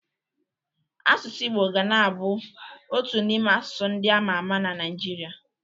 Asụsụ Igbo ga na-abụ otu n'ime asụsụ ndị ama ama n'Naịjirịa.